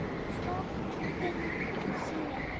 Stolinn sími